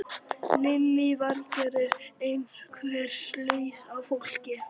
Lillý Valgerður: Einhver slys á fólki?